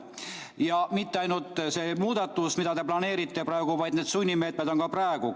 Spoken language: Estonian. Ja mitte ainult see muudatus, mida te planeerite praegu, vaid need sunnimeetmed on praegu.